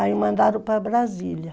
Aí mandaram para Brasília.